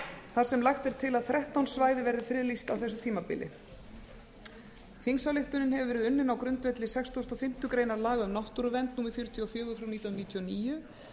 þar sem lagt er til að þrettán svæði verði friðlýst á þessu tímabili þingsályktunin hefur verið unnin á grundvelli sextugustu og fimmtu grein laga um náttúruvernd númer fjörutíu og fjórir frá nítján hundruð níutíu og níu